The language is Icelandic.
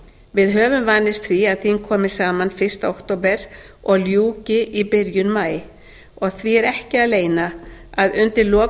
við höfum vanist því að þing komi saman fyrsta október og ljúki í byrjun maí því er ekki að leyna að undir lok